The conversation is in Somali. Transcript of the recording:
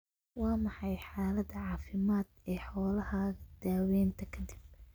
Waa maxay xaalada caafimaad ee xoolahaaga daawaynta ka dib?